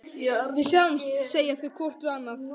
Við sjáumst, segja þau hvort við annað.